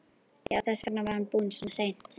Já, þess vegna var hann búinn svona seint.